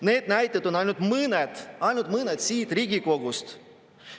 Need näited on ainult mõned – ainult mõned – siit Riigikogust.